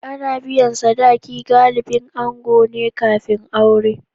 Ana biyan sadaki galibin ango ne kafin aure.